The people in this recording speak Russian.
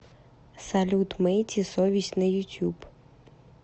салют мэйти совесть на ютюб